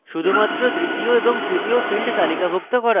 শুধুমাত্র দ্বিতীয় এবং তৃতীয় fields তালিকাভুক্ত করা